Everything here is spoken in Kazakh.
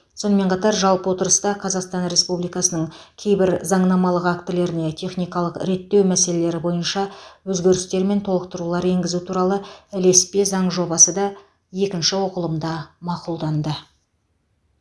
сонымен қатар жалпы отырыста қазақстан республикасының кейбір заңнамалық актілеріне техникалық реттеу мәселелері бойынша өзгерістер мен толықтырулар енгізу туралы ілеспе заң жобасы да екінші оқылымда мақұлданды